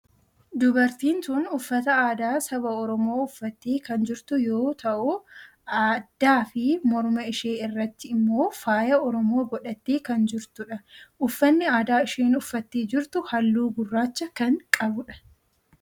Dubartiin tun uffata aadaa saba oromoo uffattee kan jirtu yoo ta'u addaa fi mormaa ishee irratti immoo faaya oromoo godhattee kan jirtudha. uffanni aadaa isheen uffattee jirtu halluu gurraacha kan qabudha.